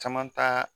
Caman ta